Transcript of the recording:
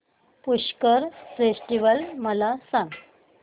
Pushkar festival मला सांग